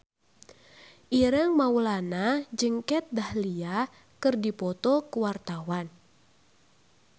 Ireng Maulana jeung Kat Dahlia keur dipoto ku wartawan